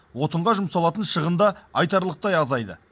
отынға жұмсалатын шығын да айтарлықтай азайды